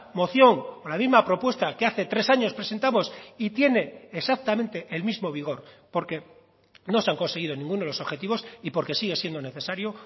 moción la misma propuesta que hace tres años presentamos y tiene exactamente el mismo vigor porque no se han conseguido ninguno de los objetivos y porque sigue siendo necesario